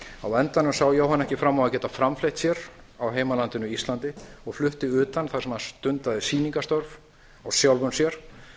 á endanum sá jóhann ekki fram á að geta framfleytt sér í heimalandinu íslandi og flutti utan þar sem hann stundaði sýningarstörf á sjálfum sér